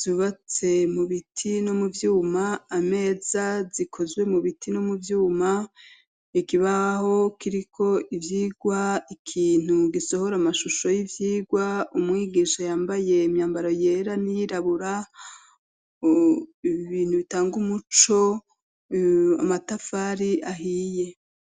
zubatse mu biti no mu vyuma, ameza zikozwe mu biti no mu vyuma, ikibaho kiriko ivyigwa, ikintu gisohora amashusho y'ivyigwa umwigisha yambaye imyambaro yera n'iyirabura ibintu bitanga umuco, amatafari ahiye.